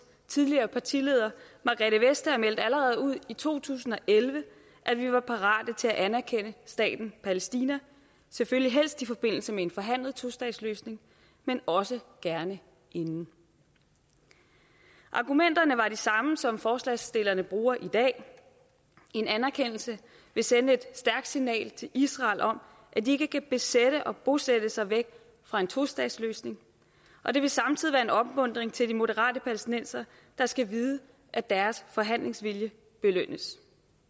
tidligere partileder margrethe vestager meldte allerede ud i to tusind og elleve at vi var parate til at anerkende staten palæstina selvfølgelig helst i forbindelse med en forhandlet tostatsløsning men også gerne inden argumenterne var de samme som forslagsstillerne bruger i dag en anerkendelse vil sende et stærkt signal til israel om at de ikke kan besætte og bosætte sig væk fra en tostatsløsning og det vil samtidig være en opmuntring til de moderate palæstinensere der skal vide at deres forhandlingsvilje belønnes